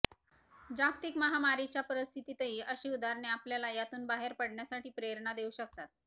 जागतिक महामारीच्या परिस्थितही अशी उदाहरणे आपल्याला यातून बाहेर पडण्यासाठी प्रेरणा देऊ शकतात